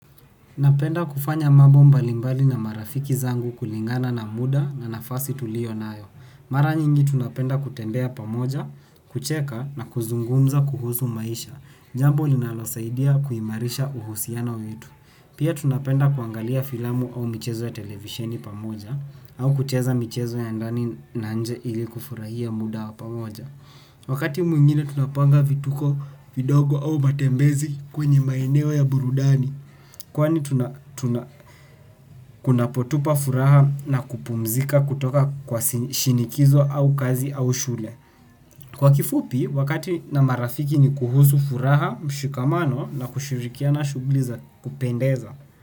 Napenda kufanya mambo mbali mbali na marafiki zangu kulingana na muda na nafasi tuliyonayo. Mara nyingi tunapenda kutembea pamoja, kucheka na kuzungumza kuhusu maisha. Jambo linalosaidia kuimarisha uhusiano wetu. Pia tunapenda kuangalia filamu au michezo ya televisheni pamoja au kucheza michezo ya ndani na nje ili kufurahia muda wa pamoja. Wakati mwingine tunapanga vituko vindogo au matembezi kwenye maeneo ya burundani kwani tuna tunapotupa furaha na kupumzika kutoka kwa shinikizo au kazi au shule. Kwa kifupi, wakati na marafiki ni kuhusu furaha, mshikamano na kushirikiana shughuli za kupendeza.